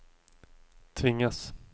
tvingas